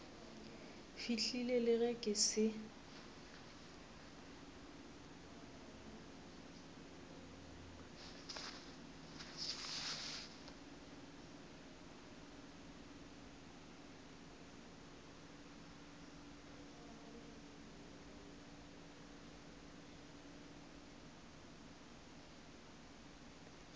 fihlile le ge ke se